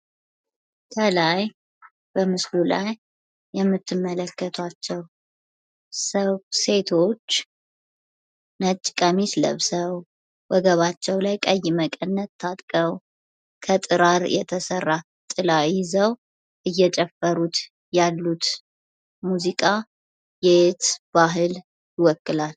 ተላይ በምስሉ ላይ የምትመለከቱአቸው ፤ ሴቶች ነጭ ቀሚስ ለብሰው፣ ወገባቸው ላይ ቀይ መቀንት ታጥቀው፣ ከጥራር የተሰራ ጥላ ይዘው እየጨፈሩት ያሉት የባህል ሙዚቃ የየት ሀገር ባህልን ይወክላል?